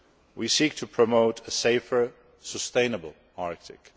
We seek to promote a safer, sustainable Arctic.